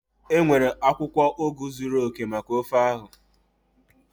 Enwere akwukwo ugu zuru oke maka ofe ahụ?